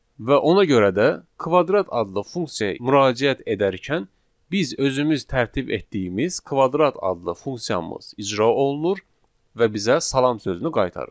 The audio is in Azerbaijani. Və ona görə də kvadrat adlı funksiyaya müraciət edərkən biz özümüz tərtib etdiyimiz kvadrat adlı funksiyamız icra olunur və bizə salam sözünü qaytarır.